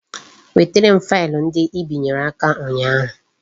Wetere m faịlụ ndị Ị binyere aka ụnyaahụ